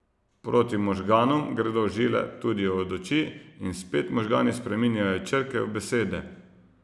Proti možganom gredo žile tudi od oči, in spet možgani spreminjajo črke v besede.